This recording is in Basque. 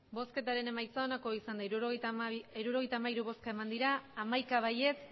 emandako botoak hirurogeita hamairu bai hamaika ez